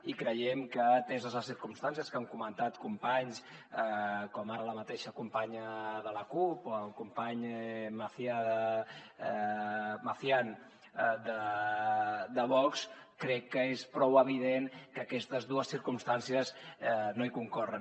i creiem que ateses les circumstàncies que han comentat companys com ara la mateixa companya de la cup o el company macián de vox crec que és prou evident que aquestes dues circumstàncies no hi concorren